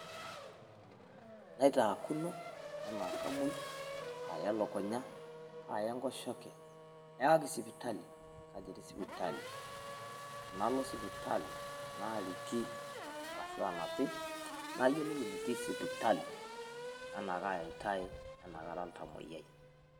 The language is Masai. Naitaakuno enaa kamuoi kaaya elukunya naaya enkoshoke ewaki sipitali kaji etii sipitali. Nalo sipitali naariki arashu aanapi nayiolou enetii sipitali enaa kaayatai enaa kara oltamuoyiai.